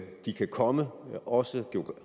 de kan komme også